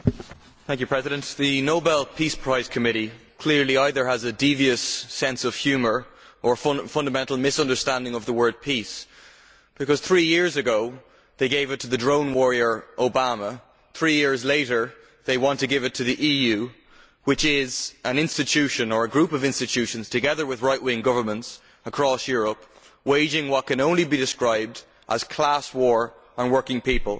Madam President, the Nobel Peace Prize committee clearly either has a devious sense of humour or a fundamental misunderstanding of the word peace', because three years ago they gave it to the drone warrior Obama. Three years later they want to give it to the EU, which is an institution or group of institutions, together with right wing governments across Europe, waging what can only be described as class war on working people.